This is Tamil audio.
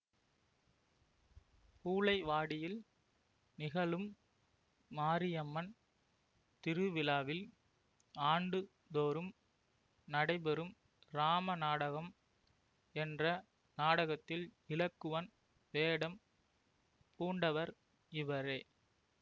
பூளைவாடியில் நிகழும் மாரியம்மன் திருவிழாவில் ஆண்டுதோறும் நடைபெறும் இராமநாடகம் என்ற நாடகத்தில் இலக்குவன் வேடம் பூண்டவர் இவரே